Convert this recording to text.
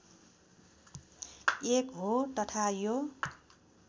एक हो तथा यो